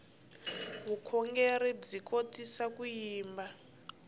vukhongerhi swi kotisa ku yimba